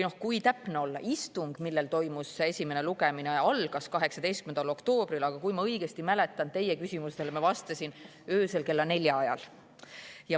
Kui täpne olla, siis istung, mille ajal toimus esimene lugemine, algas 18. oktoobril, aga kui ma õigesti mäletan, siis teie küsimustele vastasin ma öösel kella nelja ajal.